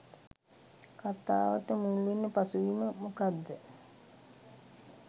කතාවට මුල්වෙන පසුබිම මොකද්ද